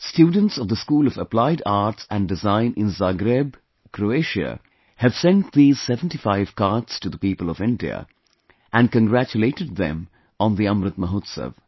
Students of the School of Applied Arts and Design in Zagreb, Croatia have sent these 75 cards to the people of India and congratulated them on the Amrit Mahotsav